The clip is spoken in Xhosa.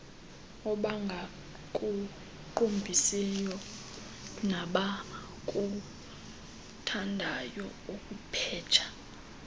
abangakuqumbisiyo nabakuthandayo kupheja